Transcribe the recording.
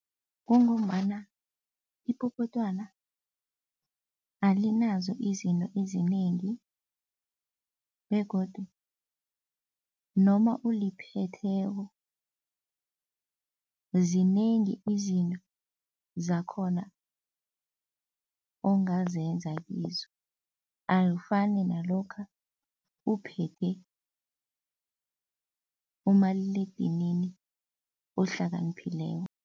Kungombana ipopotwana alinazo izinto ezinengi begodu noma uliphetheko zinengi izinto zakhona ongazenza kizo akufani nalokha uphethe umaliledinini ohlakaniphileko.